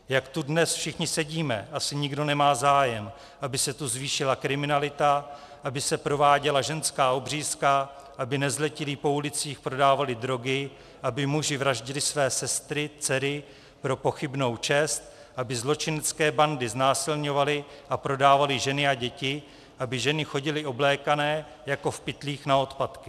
Jak tu dnes všichni sedíme, asi nikdo nemá zájem, aby se tu zvýšila kriminalita, aby se prováděla ženská obřízka, aby nezletilí po ulicích prodávali drogy, aby muži vraždili své sestry, dcery pro pochybnou čest, aby zločinecké bandy znásilňovaly a prodávaly ženy a děti, aby ženy chodily oblékané jako v pytlích na odpadky.